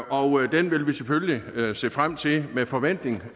og den vil vi selvfølgelig se frem til med forventning